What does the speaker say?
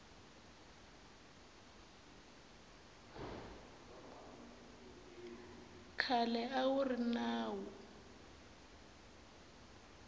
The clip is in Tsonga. khale a wu ri nawu